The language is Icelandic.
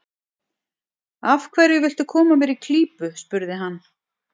Af hverju viltu koma mér í klípu? spurði hann.